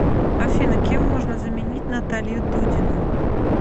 афина кем можно заменить наталью дудину